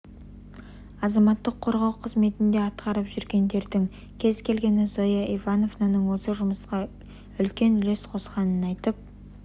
азаматтық қорғау қызметінде атқарып жүргендердің кез келгені зоя ивановнаның осы жұмысқа үлкен үлес қосқанын айтып